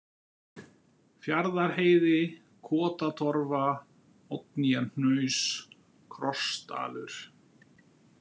Fjarðarheiði, Kotatorfa, Oddnýjarhnaus, Krossdalur